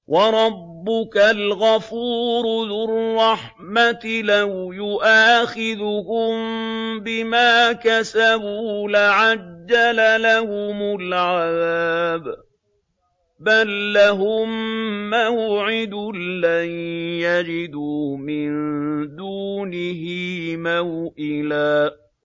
وَرَبُّكَ الْغَفُورُ ذُو الرَّحْمَةِ ۖ لَوْ يُؤَاخِذُهُم بِمَا كَسَبُوا لَعَجَّلَ لَهُمُ الْعَذَابَ ۚ بَل لَّهُم مَّوْعِدٌ لَّن يَجِدُوا مِن دُونِهِ مَوْئِلًا